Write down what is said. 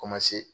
Kɔmase